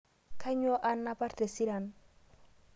Kainyo anapar tesiran